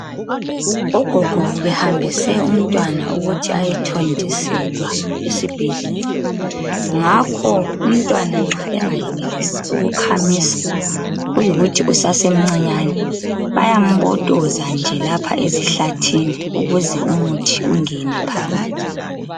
Ugogo ubehambise umntwana ukuthi ayethontiselwa esibhedlela ngakho umntwana nxa engayenelisi ukukhamisa kuyikuthi usasemncanyane bayambotoza lapha ezihlathini ukuthi ukuthi ungene phakathi.